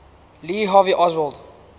lee harvey oswald